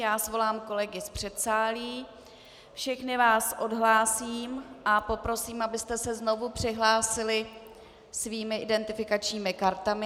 Já svolám kolegy z předsálí, všechny vás odhlásím a poprosím, abyste se znovu přihlásili svými identifikačními kartami.